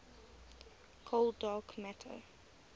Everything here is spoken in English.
cold dark matter